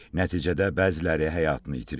Nəticədə bəziləri həyatını itirib.